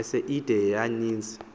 ese ide yaaninzi